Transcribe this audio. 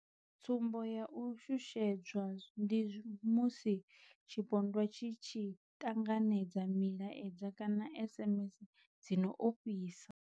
Tsumbo ya u shushedzwa ndi musi tshipondwa tshi tshi ṱanganedza milaedza kana SMS dzi no ofhisa.